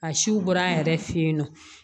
A siw bɔra an yɛrɛ fɛ yen nɔ